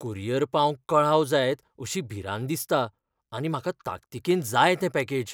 Courier पावंक कळाव जायत अशी भिरांत दिसता आनी म्हाका ताकतीकेन जाय तें पॅकेज.